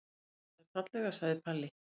Þú talaðir fallega, sagði Palli.